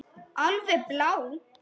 Alveg blá.